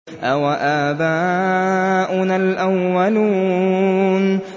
أَوَآبَاؤُنَا الْأَوَّلُونَ